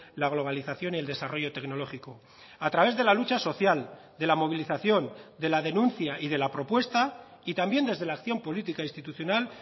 la globalización y el desarrollo tecnológico a través de la lucha social de la movilización de la denuncia y de la propuesta y también desde la acción política institucional